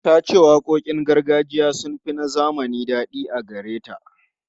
Ta ce waƙoƙin gargajiya sun fi na zamani daɗi a gare ta.